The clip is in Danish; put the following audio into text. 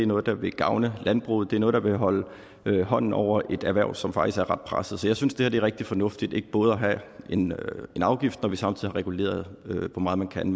noget der vil gavne landbruget det er noget der vil holde hånden over et erhverv som faktisk er ret presset så jeg synes det er rigtig fornuftigt ikke både at have en afgift når vi samtidig har reguleret hvor meget man kan